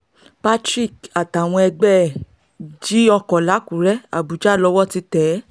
patrick àtàwọn ẹgbẹ́ ẹ̀ jí ọkọ làkùrẹ̀ àbújá lowó ti tẹ̀ é